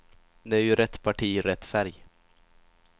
Det är ju rätt parti, rätt färg.